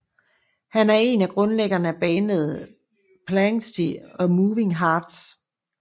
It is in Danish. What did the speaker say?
Han er en af grundlæggerne af bandet Planxty og Moving Hearts